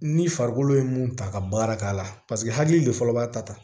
Ni farikolo ye mun ta ka baara k'a la paseke hakili de fɔlɔ b'a ta ta